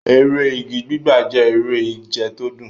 Eré igi gbígbà jẹ́ eré ìje tó dùn.